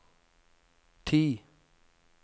ti